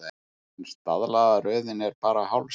En staðlaða röðin er bara hálf sagan.